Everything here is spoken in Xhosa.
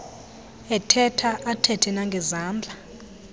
ethetha athethe nangezandla